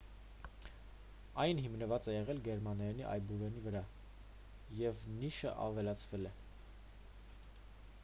այն հիմնված է եղել գերմաներենի այբուբենի վրա և »õ/õ» նիշն ավելացվել էր: